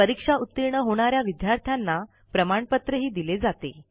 परीक्षा उतीर्ण होणा या विद्यार्थ्यांना प्रमाणपत्रही दिले जाते